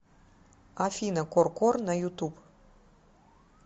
афина к о р кор на ютуб